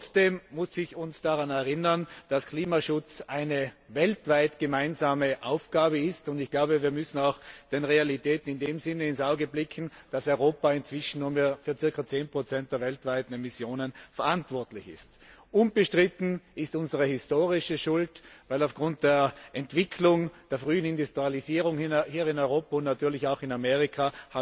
Trotzdem muss ich uns daran erinnern, dass Klimaschutz eine weltweit gemeinsame Aufgabe ist, und wir müssen auch den Realitäten in dem Sinne ins Auge blicken, dass Europa inzwischen nur mehr für ca. 10 der weltweiten Emissionen verantwortlich ist. Unbestritten ist unsere historische Schuld, weil wir aufgrund der Entwicklung der frühen Industrialisierung hier in Europa und natürlich auch in Amerika